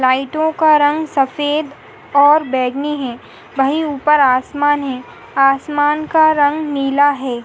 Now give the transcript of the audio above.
लइटो का रंग सफेद और बैगनी है वहीँ ऊपर आसमान है आसमान का रंग नीला है ।